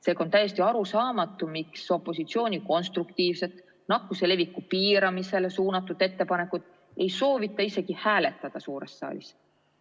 Seega on täiesti arusaamatu, miks opositsiooni konstruktiivset nakkuse leviku piiramisele suunatud ettepanekut ei soovita isegi hääletada suures saalis.